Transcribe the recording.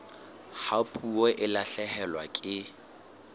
ha puo e lahlehelwa ke